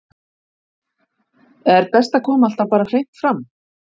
Er best að koma alltaf bara hreint fram?